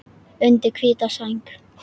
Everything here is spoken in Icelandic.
Undir hvíta sæng.